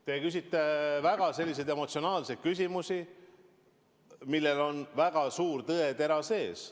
Te küsite selliseid väga emotsionaalseid küsimusi, millel on väga suur tõetera sees.